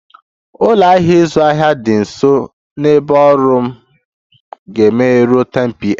Ụlọ ahịa ịzụ ahịa dị nso na ebe ọrụ m ga-emeghe ruo 10pm